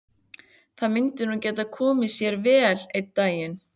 Það myndi nú geta komið sér vel einn daginn.